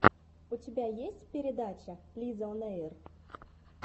у тебя есть передача лизаонэйр